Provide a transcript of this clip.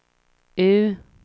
U